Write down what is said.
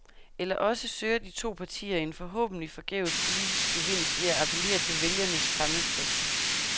Eller også søger de to partier en forhåbentlig forgæves politisk gevinst ved at appellere til vælgernes fremmedfrygt.